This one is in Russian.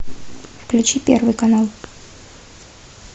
включи первый канал